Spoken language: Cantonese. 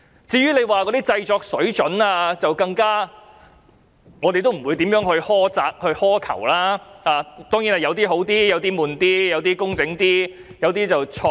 至於製作水準方面，我們更不會苛責或苛求，但當然有些短片較好，有些較沉悶，有些較工整，有些則較有創意。